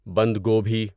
بندگوبھی